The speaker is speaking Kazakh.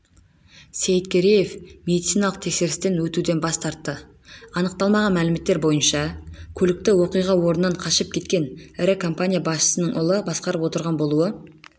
сейіткереев медициналық тексерістен өтуден бас тартты анықталмаған мәліметтер бойынша көлікті оқиға орнынан қашып кеткен ірі компания басшысының ұлы басқарып отырған болуы